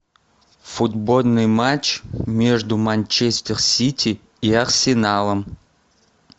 футбольный матч между манчестер сити и арсеналом